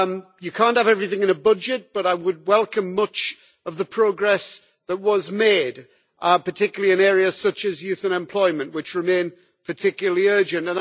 You cannot have everything in a budget, but I would welcome much of the progress that was made, particularly in areas such as youth unemployment, which remain particularly urgent.